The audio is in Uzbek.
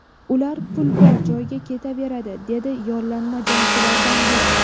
Ular pul bor joyga ketaveradi”, dedi yollanma jangchilardan biri.